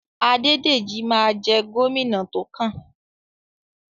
Adédèjí ma jẹ́ gómìnà tókàn.